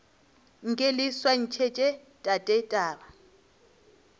nke le swantšhetše tate taba